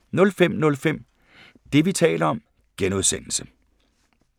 05:05: Det, vi taler om (G)